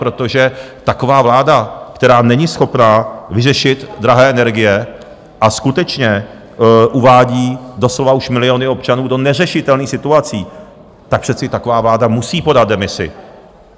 Protože taková vláda, která není schopna vyřešit drahé energie a skutečně uvádí doslova už miliony občanů do neřešitelných situací, tak přece taková vláda musí podat demisi.